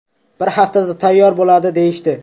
Bir haftada tayyor bo‘ladi, deyishdi.